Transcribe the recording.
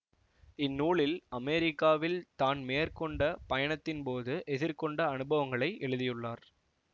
இந்நூலில் அமெரிக்காவில் தான் மேற்கொண்ட பயணத்தின்போது எதிர்கொண்ட அனுபவங்களை எழுதியுள்ளார்